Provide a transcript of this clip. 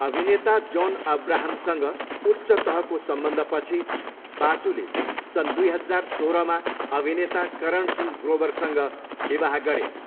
अभिनेता जोन अब्राहमसँग उच्च तहको सम्बन्धपछि, बासुले सन् दुई हजार सोह्रमा अभिनेता करणसिंह ग्रोवरसँग विवाह गरिन्।